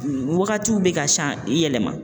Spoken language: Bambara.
Wagatiw be ka san yɛlɛma